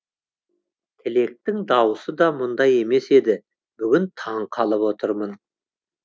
тілектің дауысы да мұндай емес еді бүгін таңқалып отырмын